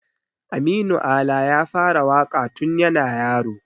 Aminu Ala ya fara waƙa tun yana yaro.